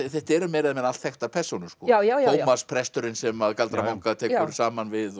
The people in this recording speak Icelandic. þetta eru meira eða minna allt þekktar persónur já já já já Tómas presturinn sem galdra manga tekur saman við